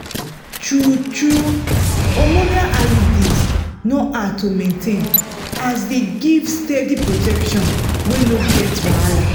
true-true hormonal iuds no hard to maintain as dey give steady protection wey no get wahala.